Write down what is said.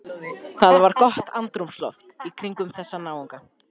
Það var gott andrúmsloft kringum þessa náunga.